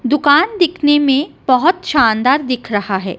दुकान दिखने में बहोत शानदार दिख रहा है।